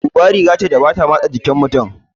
Buba riga ce da ba matse mutum a jiki